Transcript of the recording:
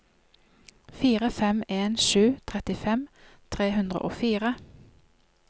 fire fem en sju trettifem tre hundre og fire